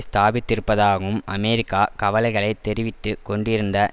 ஸ்தாபித்திருப்பதாகவும் America கவலைகளை தெரிவித்து கொண்டிருந்த